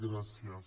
gràcies